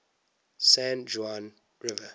san juan river